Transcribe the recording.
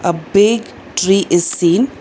A big tree is seen.